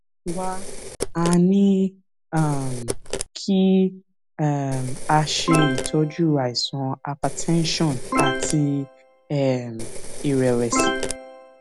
wá a ní um kí um a ṣe itọju àìsàn hypertension àti um ìrẹwẹsì